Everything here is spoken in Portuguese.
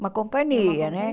Uma companhia, né?